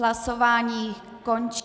Hlasování končím.